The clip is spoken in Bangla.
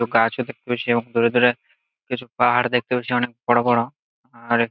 কিছু গাছও দেখতে পাচ্ছি এবং দূরে দূরে কিছু পাহাড় দেখতে পাচ্ছি অনেক বড় বড় আর--